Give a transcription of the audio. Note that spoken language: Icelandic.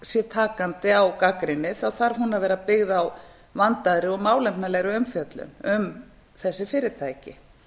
sé takandi á gagnrýni þarf hún að vera byggð á vandaðri og málefnalegri umfjöllun um þessi fyrirtæki